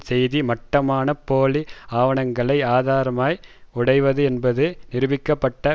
செய்தி மட்டமான போலி ஆவணங்களை ஆதாரமாய் உடையது என்பது நிரூபிக்க பட்ட